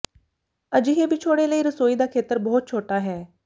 ਅਜਿਹੇ ਵਿਛੋੜੇ ਲਈ ਰਸੋਈ ਦਾ ਖੇਤਰ ਬਹੁਤ ਛੋਟਾ ਹੈ